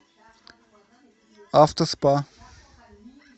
автоспа